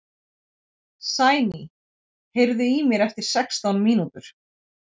Sæný, heyrðu í mér eftir sextán mínútur.